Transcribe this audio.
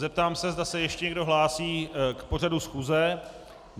Zeptám se, zda se ještě někdo hlásí k pořadu schůze.